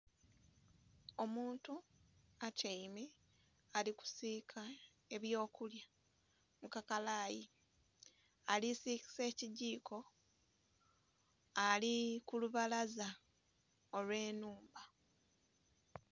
Omuntu atyaime ali kusiika ebyo kulya mu kakalayi, ali sikisa ekigiiko ali ku lubalaza olwe nhumba.